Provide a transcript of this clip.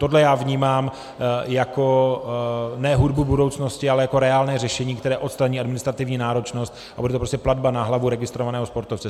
Tohle já vnímám jako ne hudbu budoucnosti, ale jako reálné řešení, které odstraní administrativní náročnost, a bude to prostě platba na hlavu registrovaného sportovce.